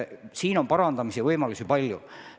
Siin on parandamise võimalusi palju.